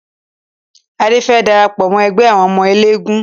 Adé fẹ́ lọ darapọ̀ mọ ẹgbẹ́ àwọn ọmọ eléégún